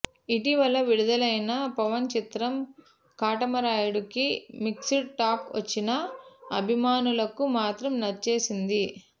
ఇటీవల విడుదలైన పవన్ చిత్రం కాటమరాయుడు కి మిక్స్డ్ టాక్ వచ్చినా అభిమానులకు మాత్రం నచ్చేసింది